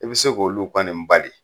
I bi se k'olu kɔni bali.